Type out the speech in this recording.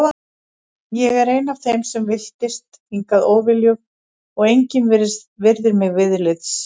Ég er ein af þeim sem villtist hingað óviljug og engin virðir mig viðlits.